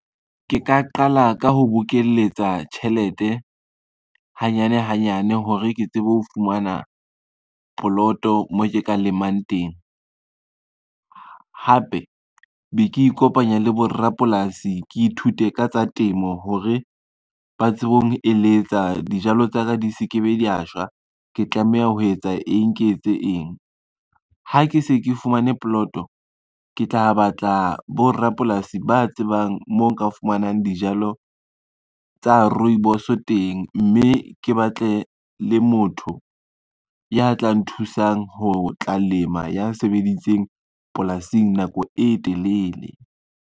Ke ka qala ka ho bokeletsa tjhelete hanyane hanyane hore ke tsebe ho fumana poloto moo ke ka lemang teng. Hape be ke ikopanya le borapolasi ke ithute ka tsa temo hore ba tsebe ho ngeletsa dijalo tsa ka di se ke be dia shwa, ke tlameha ho etsa eng ke etse eng. Ha ke se ke fumane poloto ke tla batla borapolasi ba tsebang moo nka fumanang dijalo tsa rooibos teng, mme ke batle le motho ya tla nthusang ho tla lema ya sebeditseng polasing nako e telele.